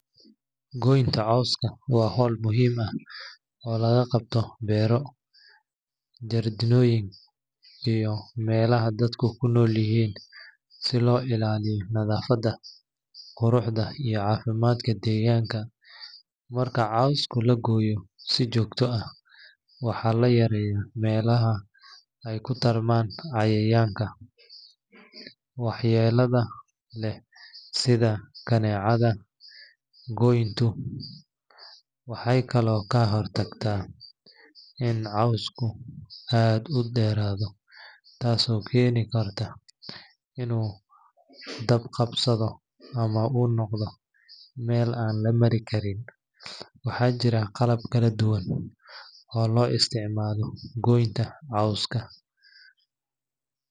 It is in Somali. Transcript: Gooynta cawska waa hawl muhiim ah oo laga qabto beero, jardiinooyin, iyo meelaha dadku ku nool yihiin si loo ilaaliyo nadaafadda, quruxda, iyo caafimaadka deegaanka. Marka cawska la gooyo si joogto ah, waxa la yareeyaa meelaha ay ku tarmaan cayayaanka waxyeellada leh sida kaneecada. Gooyntu waxay kaloo ka hortagtaa in cawska aad u dheeraado taasoo keeni karta inuu dab qabsado ama uu noqdo meel aan la mari karin. Waxaa jira qalab kala duwan oo loo adeegsado goynta cawska sida.